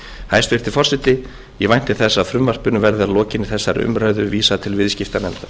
hæstvirti forseti ég vænti þess að frumvarpinu verði að lokinni þessari umræðu vísað til viðskiptanefndar